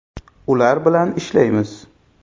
Ular bilan ishlaymiz.